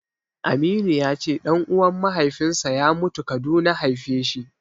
Aminu ya ce ɗan'uwan mahaifinsa ya mutu Kaduna haifeshi.